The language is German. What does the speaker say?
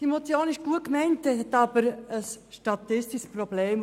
Diese Motion ist gut gemeint, aber sie ergibt ein statistisches Problem.